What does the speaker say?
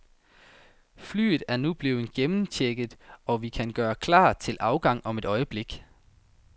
Flyet er nu blevet gennemchecket, og vi kan gøre klar til afgang om et øjeblik.